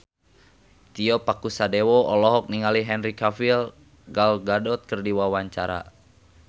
Tio Pakusadewo olohok ningali Henry Cavill Gal Gadot keur diwawancara